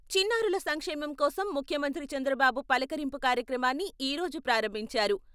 చిన్నారుల సంక్షేమం కోసం ముఖ్యమంత్రి చంద్రబాబు 'పలకరింపు 'కార్యక్రమాన్ని ఈ రోజు ప్రారంభించారు.